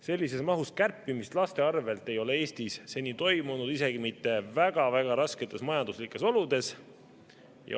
Sellises mahus kärpimist laste arvel ei ole Eestis seni toimunud isegi mitte väga-väga rasketes majanduslikes oludes.